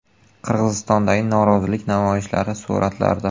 Qirg‘izistondagi norozilik namoyishlari suratlarda.